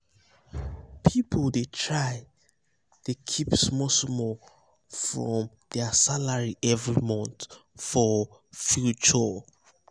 people dey try dey keep small small from their salary every month for future.